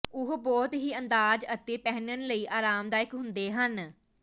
ਉਹ ਬਹੁਤ ਹੀ ਅੰਦਾਜ਼ ਅਤੇ ਪਹਿਨਣ ਲਈ ਆਰਾਮਦਾਇਕ ਹੁੰਦੇ ਹਨ